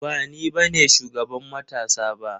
Ba ni bane shugaban matasa ba.